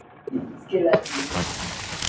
Þar er mikill munur.